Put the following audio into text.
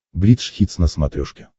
бридж хитс на смотрешке